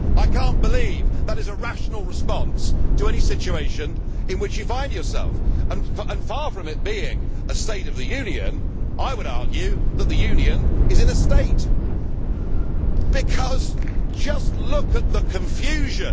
I cannot believe that this is a rational response to any situation in which you find yourself and, far from it being a State of the Union, I would argue that the Union is in a state because just look at the confusion.